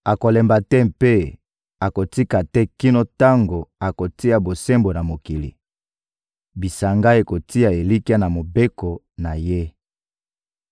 akolemba te mpe akotika te kino tango akotia bosembo na mokili. Bisanga ekotia elikya na mobeko na ye.